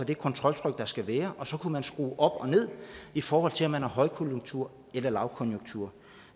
det kontroltryk der skal være og så kunne man skrue op og ned i forhold til om man har højkonjunktur eller lavkonjunktur